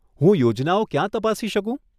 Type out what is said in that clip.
હું યોજનાઓ ક્યાં તપાસી શકું?